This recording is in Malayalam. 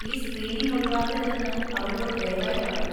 ഈ സ്ക്രീനിംഗ് ഒഴിവാക്കരുതെന്ന് അവരോട് ദയവായി പറയൂ.